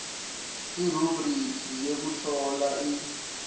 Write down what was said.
irubhrikhi yekuhlola i